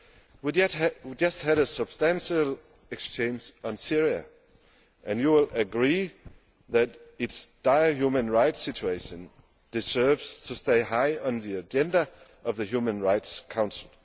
We have just had a substantial exchange on Syria, and you will agree that its dire human rights situation deserves to stay high on the agenda of the Human Rights Council.